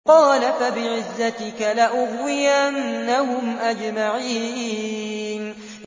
قَالَ فَبِعِزَّتِكَ لَأُغْوِيَنَّهُمْ أَجْمَعِينَ